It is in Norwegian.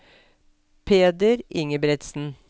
Peder Ingebretsen